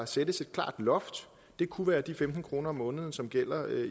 sættes et klart loft det kunne være de femten kroner om måneden som gælder